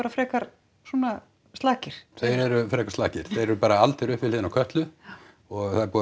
frekar svona slakir þeir eru frekar slakir þeir eru bara aldir upp við hliðin á Kötlu og það er búið